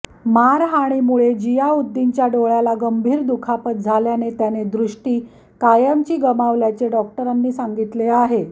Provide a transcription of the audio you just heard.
मारहाणीमुळे जियाउद्दीनच्या डोळ्याला गंभीर दुखापत झाल्याने त्याने दृष्टी कायमची गमावल्याचे डॉक्टरांनी सांगितले आहे